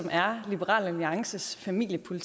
jeg kunne